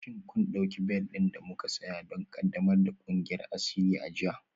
Shin kun ɗauki bel ɗin da muka saya don ƙaddamar da ƙungiyar asiri a jiya?